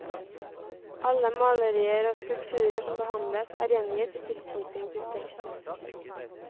Alle malerier og skulpturer som behandles, er gjengitt i tilknytning til teksten.